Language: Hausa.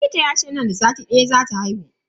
Likita yace nan da sati daya zata haihu.